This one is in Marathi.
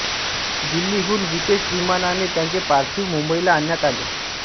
दिल्लीहून विशेष विमानाने त्यांचे पार्थिव मुंबईला आणण्यात आले